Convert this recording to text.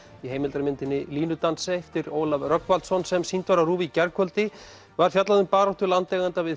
í heimildarmyndinni línudansi eftir Ólaf Rögnvaldsson sem sýnd var á RÚV í gærkvöldi var fjallað um baráttu landeigenda við